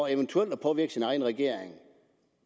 eventuelt at påvirke sin egen regering